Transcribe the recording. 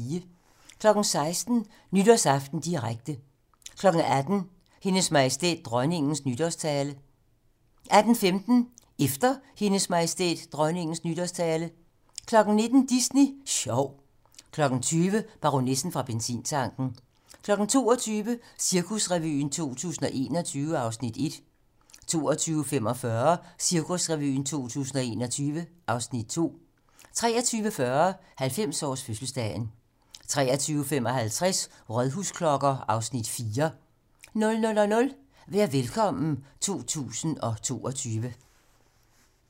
16:00: Nytårsaften direkte 18:00: Hendes Majestæt Dronningens nytårstale 18:15: Efter Hendes Majestæt Dronningens nytårstale 19:00: Disney Sjov 20:00: Baronessen fra benzintanken 22:00: Cirkusrevyen 2021 (Afs. 1) 22:45: Cirkusrevyen 2021 (Afs. 2) 23:40: 90-års fødselsdagen 23:55: Rådhusklokker (Afs. 4) 00:00: Vær Velkommen 2022